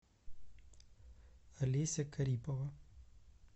олеся карипова